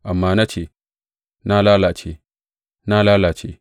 Amma na ce, Na lalace, na lalace!